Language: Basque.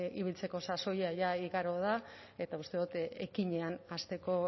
ibiltzeko sasoia jada igaro da eta uste dut ekinean hasteko